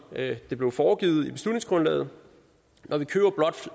det blev foregivet i beslutningsgrundlaget når vi køber blot